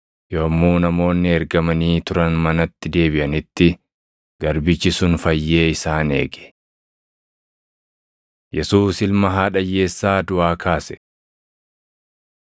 Yommuu namoonni ergamanii turan manatti deebiʼanitti garbichi sun fayyee isaan eege. Yesuus Ilma Haadha Hiyyeessaa Duʼaa Kaase 7:11‑16 kwi – 1Mt 17:17‑24; 2Mt 4:32‑37; Mar 5:21‑24,35‑43; Yoh 11:1‑44